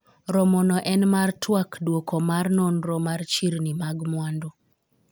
romo no en mar twak dwoko mar nonro mar chirni mag mwandu